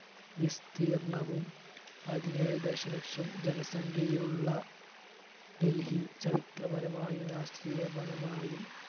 വിസ്തീർണവും പതിനേഴ് ദശലക്ഷം ജനസംഖ്യയുള്ള ഡൽഹി ചരിത്രപരമായും രാഷ്ട്രീയപരമായും